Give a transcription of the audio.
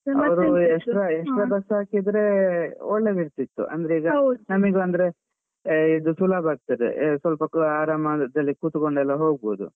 ಅವರು extra extra bus ಹಾಕಿದ್ರೆ ಒಳ್ಳೆದಿರ್ತಿತ್ತು ಅಂದ್ರೆ. ಈಗ ನಮಗೂ ಅಂದ್ರೆ ಇದು ಸುಲಭ ಆಗ್ತದೆ ಸ್ವಲ್ಪ ಆರಾಮಾಗುತ್ತೆ like ಕೂತ್ಕೊಂಡಲ್ಲ ಹೋಗಬೋದು.